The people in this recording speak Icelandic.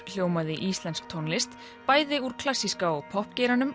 hljómaði íslensk tónlist bæði úr klassíska og